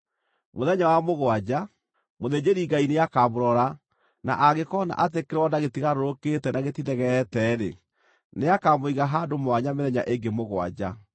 Mũthenya wa mũgwanja, mũthĩnjĩri-Ngai nĩakamũrora na angĩkoona atĩ kĩronda gĩtigarũrũkĩte na gĩtithegeete-rĩ, nĩakamũiga handũ mwanya mĩthenya ĩngĩ mũgwanja.